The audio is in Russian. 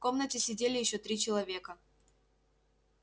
в комнате сидели ещё три человека